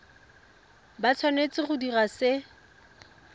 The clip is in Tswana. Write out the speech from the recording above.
ba tshwanetse go dira se